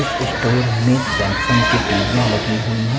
इस स्टोर में सैमसंग की टीवियां लगी हुई हैं।